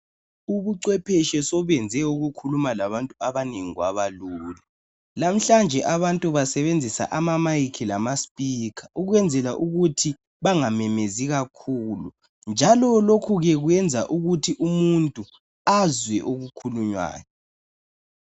Ubucwepeshi sobenze ukukhuluma labantu abanengi kwabalula, lamhlanje abantu basebenzisa amamayikhi lama sphikha, ukwenzela ukuthi bangamemezi kakhulu, njalo lokhu ke kwenza ukuthi umuntu, azwe okukhulunywayo.